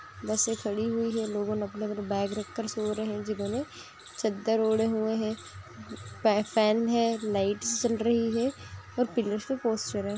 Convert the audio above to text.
बसे खड़ी हुई है लोगोने अपने-अपने बैग रखकर सो रहे है जिन्होंने चद्दर ओढे हुए है फैन है लाइट्स जल रही है और पिलर्स पे पोस्टर है।